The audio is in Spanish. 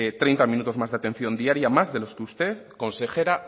treinta minutos más de atención diaria más de los que usted consejera